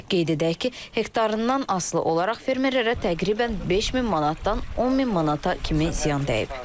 Qeyd edək ki, hektarından asılı olaraq fermerlərə təxminən 5000 manatdan 10000 manata kimi ziyan dəyib.